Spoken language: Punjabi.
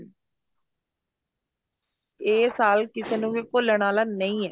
ਇਹ ਸਾਲ ਕਿਸੇ ਨੂੰ ਵੀ ਭੁੱਲਨ ਵਾਲਾ ਨਹੀਂ ਏ